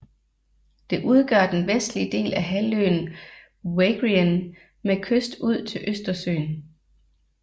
Det udgør den vestlige del af halvøen Wagrien med kyst ud til Østersøen